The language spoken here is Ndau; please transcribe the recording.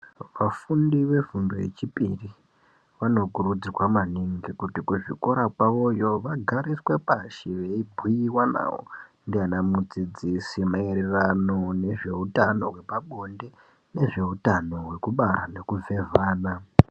Vafundi vefundo yechipiri vanokurudzirwa maningi kuti kuzvikora kwavo yoo vagariswe pashi veibhuyiwa navo ndiana mudzidzisi maererano nezveutano wepabonde nezveutano wekubara nekuzezana.